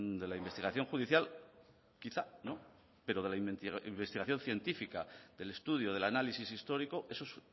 de la investigación judicial quizá pero de la investigación científica del estudio del análisis histórico esos